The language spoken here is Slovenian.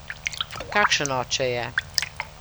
Kakšen oče je?